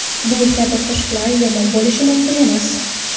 Bu kabi qo‘shiqlar yomon bo‘lishi mumkin emas.